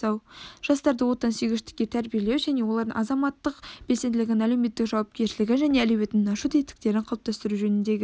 жастарды отансүйгіштікке тәрбиелеу және олардың азаматтық белсенділігін әлеуметтік жауапкершілігін және әлеуетін ашу тетіктерін қалыптастыру жөніндегі